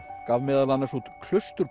gaf meðal annars út